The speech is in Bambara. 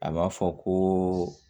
A b'a fɔ ko